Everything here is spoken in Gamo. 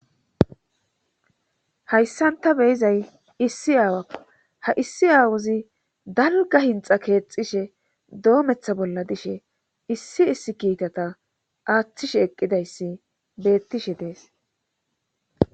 hayssan ta beyizay issi aawakko ha issi aawuzi dalga hinxa keexxishe doomeththa bolla dishe issi issi kiitata aaththishe eqqidayssi beettishe dees